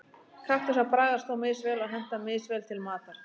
Kaktusar bragðast þó misvel og henta misvel til matar.